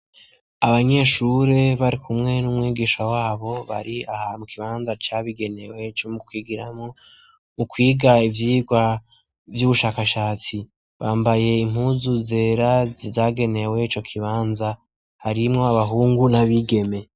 Abanyeshure bari kumwe n'umwigisha wabo bari aha mu kibanza cabigenewe co mu kigiramo mu kwiga ivyirwa vy'ubushakashatsi bambaye impuzu zera zizagenewe co kibanza, harimwo abahungu n'abigeme.